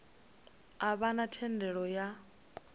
a vha na thendelo ya